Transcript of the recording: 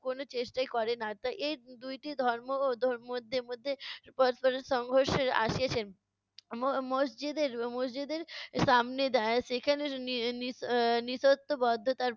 কোনো চেষ্টাই করে না। তাই এই দুইটি ধর্ম ও ধর মধ্যে মধ্যে পরস্পরের সংঘর্ষে আসিয়েছে। ম~ মসজিদের মসজিদের সামনে এর সেখানে নি~ নিশ~ এর নিশত্তবদ্ধতার